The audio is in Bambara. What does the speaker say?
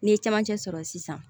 N'i ye camancɛ sɔrɔ sisan